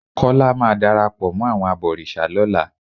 Kọ́lá máa darapọ̀ mọ́ àwọn abọ̀rìṣà lọ́la.